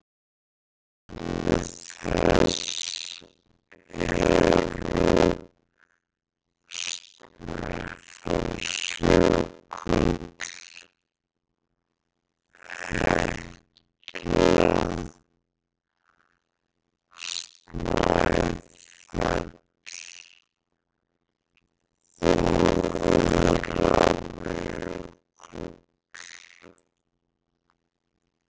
Dæmi þess eru Snæfellsjökull, Hekla, Snæfell og Öræfajökull.